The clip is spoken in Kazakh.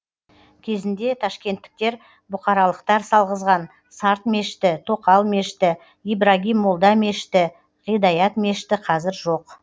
кезінде ташкенттіктер бұқаралықтар салғызған сарт мешіті тоқал мешіті ибрагим молда мешіті ғидаят мешіті қазір жоқ